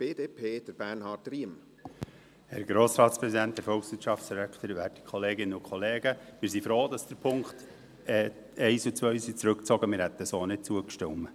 Wir sind froh, dass die Punkte 1 und 2 zurückgezogen wurden, denn wir hätten sonst nicht zugestimmt.